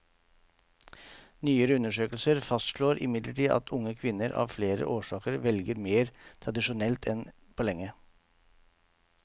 Nyere undersøkelser fastslår imidlertid at unge kvinner av flere årsaker velger mer tradisjonelt enn på lenge.